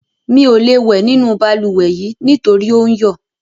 Mi ò lè wẹ̀ nínú balùwẹ̀ nítorí ò ń yọ̀.